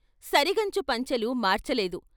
సరిగంచు పంచెలూ మార్చలేదు.